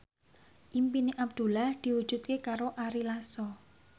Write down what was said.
impine Abdullah diwujudke karo Ari Lasso